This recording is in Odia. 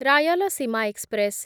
ରାୟଲସୀମା ଏକ୍ସପ୍ରେସ୍